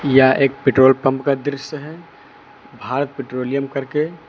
यह एक petrol pump का दृश्य है भारत पेट्रोलियम करके।